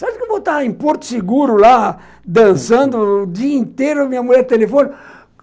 Sabe que eu vou estar em Porto Seguro, lá, dançando, o dia inteiro, minha mulher telefona.